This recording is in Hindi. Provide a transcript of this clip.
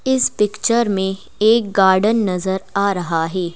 इस पिक्चर में एक गार्डन नजर आ रहा है।